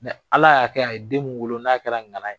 Ala y'a kɛ a ye den mun wolo n'a kɛra ŋana ye.